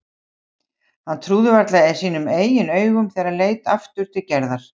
Hann trúði varla sínum eigin augum þegar hann leit aftur til Gerðar.